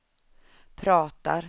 pratar